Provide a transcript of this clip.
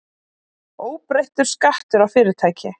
Óbreyttur skattur á fyrirtæki